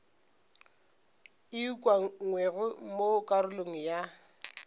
e ukangwego mo karolong ya